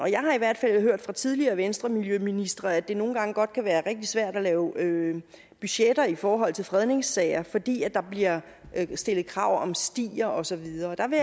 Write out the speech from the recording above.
jeg har i hvert fald hørt fra tidligere venstremiljøministre at det nogle gange godt kan være rigtig svært at lave budgetter i forhold til fredningssager fordi der bliver stillet krav om stier og så videre der vil